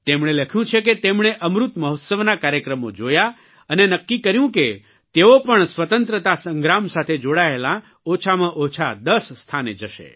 તેમણે લખ્યું છે કે તેમણે અમૃત મહોત્સવના કાર્યક્રમો જોયા અને નક્કી કર્યું કે તેઓ પણ સ્વતંત્રતા સંગ્રામ સાથે જોડાયેલાં ઓછામાં ઓછાં 10 સ્થાને જશે